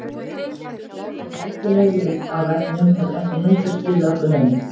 Rækileg leit á vefnum hefur ekki heldur skilað okkur neinu.